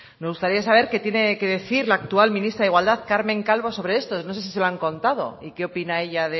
me gustaría saber qué tiene que decir la actual ministra de igualdad carmen calvo sobre esto no sé si se lo han contado y qué opina ella